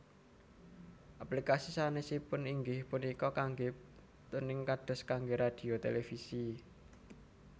Aplikasi sanesipun inggih punika kangge tuning kados kangge radhio televisi